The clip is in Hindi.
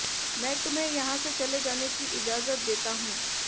मैं तुम्हें यहां से चले जाने की इजाजत देता हूं